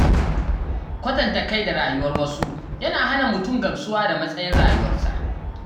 Kwatanta kai da rayuwar wasu yana hana mutum gamsuwa da matsayin rayuwarsa